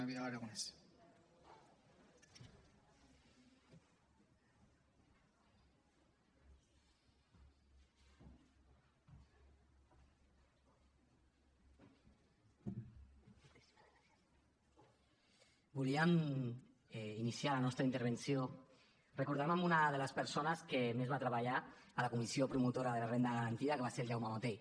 volíem iniciar la nostra intervenció recordant una de les persones que més va treballar a la comissió promotora de la renda garantida que va ser el jaume botey